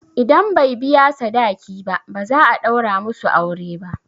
Idan bai biya sadaki ba, ba za a ɗaura musu aure ba.